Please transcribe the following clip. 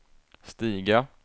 stiga